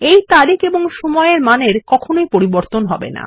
এই তারিখ এবং সময় এর মান পরিবর্তন হবে না